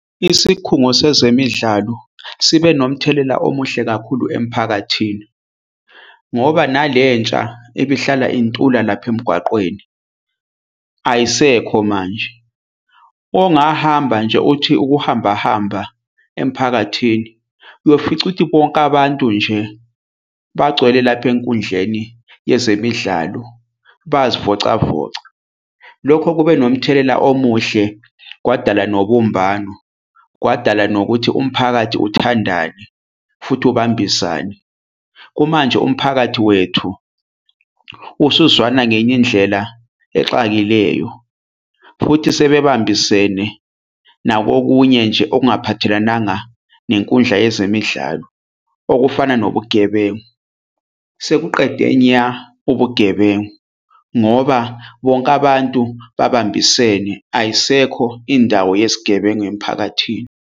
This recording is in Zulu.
Isikhungo sezemidlalo sibe nomthelela omuhle kakhulu emphakathini ngoba nalentsha ebihlala intula lapha emgwaqweni ayisekho manje. Ongahamba nje uthi ukuhamba hamba emiphakathini. Uyofica ukuthi bonke abantu nje bagcwele lapha enkundleni yezemidlalo bayazivocavoca. Lokho kube nomthelela omuhle, kwadala nobumbano, kwadala nokuthi umphakathi uthandane futhi ukubambisane. Kumanje umphakathi wethu usuzwana ngenye indlela exakileleyo futhi sebebambisene nakokunye nje okungaphathelananga ngenkundla yezemidlalo okufana nobugebengu. Sekuqede nya ubugebengu ngoba bonke abantu babambisene, ayisekho indawo yesigebengu emiphakathini.